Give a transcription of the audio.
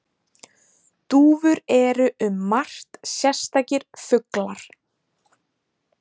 Dúfur eru um margt sérstakir fuglar.